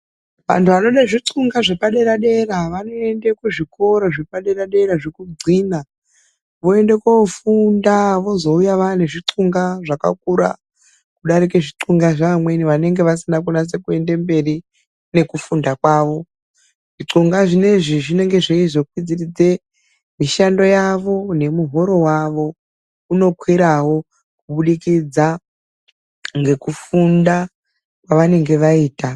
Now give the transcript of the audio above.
Anhu anode zvixunga zvepaderadera vanoende kuzvikoro zvepaderadera zvekunxina, voende koofunda vozouya vaane zvixunga zvakakura kudarike zvixunga zvaamweni vanenge vasina kunase kuende mberi nekufunda kwawo. Zvixunga zvinoizvi zvinenge zveizokwidziridze mishando yavo nemihoro wavo unokwirawo kubudikidza ngekufunda kwaanenge vaita.